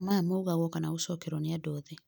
maya maũgagwo kana gũcokerwo nĩ andũ othe